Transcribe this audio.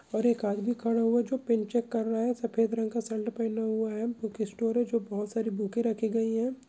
और एक आदमी खड़ा हुआ है जो पेन चेक कर रहा है सफ़ेद रंग का शल्ट पहेना हुआ है बुक स्टोर है जो की बहोत सारी बुकें रखी गई हैं।